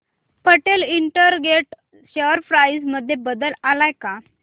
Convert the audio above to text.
Patel integrate share price मध्ये बदल आलाय का